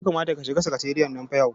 Ya kamata ka shiga sakatariyan nan fa yau.